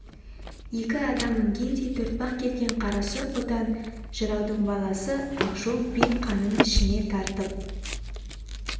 екі адам мінгендей төртпақ келген қара сұр қотан жыраудың баласы ақжол би қанын ішіне тартып